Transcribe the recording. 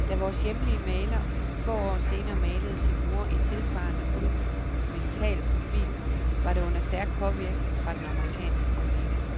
Da vores hjemlige maler få år senere malede sin mor i tilsvarende monumental profil var det under stærk påvirkning fra den amerikanske kollega.